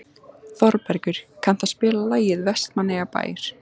Þorbergur, kanntu að spila lagið „Vestmannaeyjabær“?